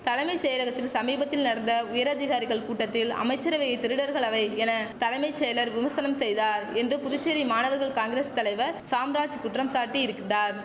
தலமை செயலகத்தில் சமீபத்தில் நடந்த உயரதிகாரிகள் கூட்டத்தில் அமைச்சரவையை திருடர்கள் அவை என தலைமை செயலர் விமர்சனம் செய்தார் என்று புதுச்சேரி மாணவர் காங்கரஸ் தலைவர் சாம்ராஜ் குற்றம் சாட்டி இருக்தார்